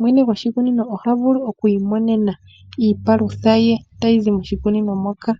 mwene gwoshikunino oha vulu oku imonena iipalutha ye tayi zi moshikunino moka.